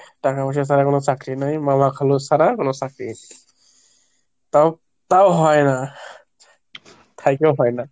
টাকা পয়সা ছাড়া কোনো চাকরি নেই, মামা খালু ছাড়া কোনো চাকরি তাও তাও হয় না, থাকলেও হয় না।